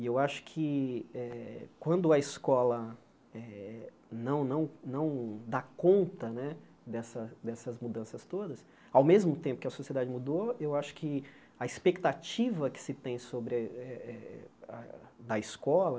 E eu acho que eh quando a escola eh não não não dá conta né dessa dessas mudanças todas, ao mesmo tempo que a sociedade mudou, eu acho que a expectativa que se tem sobre eh eh eh a da escola